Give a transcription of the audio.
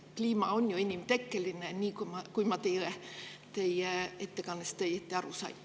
Kliima on ju inimtekkeline, kui ma teie ettekandest õigesti aru sain.